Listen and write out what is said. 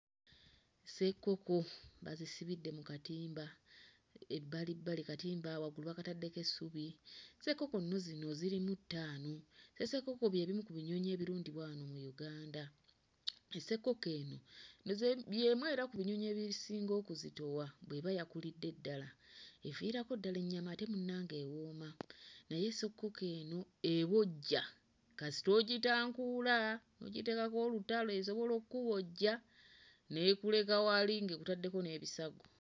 Ssekkoko bazisibidde mu katimba ebbali bbali katimba waggulu bakataddeko essubi, ssekkoko nno zino zirimu ttaano, ssekkoko bye bimu ku binyonyi ebirundibwa wano mu Uganda, ssekkoko eno ndooza y'emu era ku binyonyi ebisinga okuzitowa bw'eba yakulidde ddala, eviirako ddala ennyama ate munnange ewooma naye ssekkoko eno ebojja kasita ogitankuula n'ogiteekako olutalo esobola okubojja n'ekuleka wali ng'ekutaddeko n'ebisago.